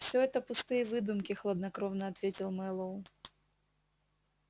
всё это пустые выдумки хладнокровно ответил мэллоу